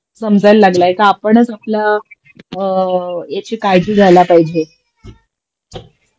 समजायला लागलाय का आपणच आपल्या अ याची काळजी घ्यायला पाहिजे